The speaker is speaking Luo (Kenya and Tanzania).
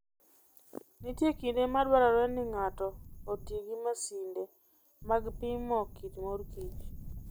Nitie kinde ma dwarore ni ng'ato oti gi masinde mag pimo kit mor kich.